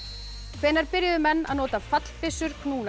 hvenær byrjuðu menn að nota fallbyssur